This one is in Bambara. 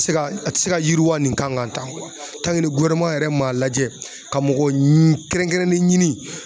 Se ka a ti se ka yiriwa nin kan tan yɛrɛ ma lajɛ ka mɔgɔ kɛrɛnkɛrɛnnen ɲini